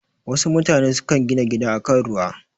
Wasu mutane sukan gina gida a kan ruwa.